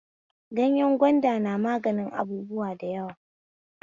Gayen gwanda na mganin abubuwa da yawa